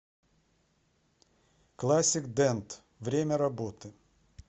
классик дент время работы